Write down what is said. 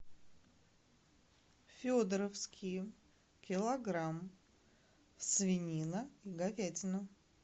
федоровские килограмм свинина говядина